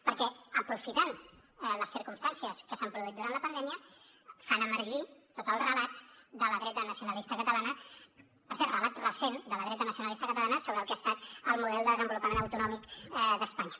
perquè aprofitant les circumstàncies que s’han produït durant la pandèmia fan emergir tot el relat de la dreta nacionalista catalana per cert relat recent de la dreta nacionalista catalana sobre el que ha estat el model de desenvolupament autonòmic d’espanya